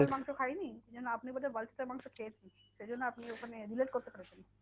মাংস খাইনি। যেন আপনি বোধহয় vulture এর মাংস খেয়েছেন? সেইজন্য আপনি ওখানে relate করতে পেরেছেন।